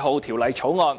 《條例草案》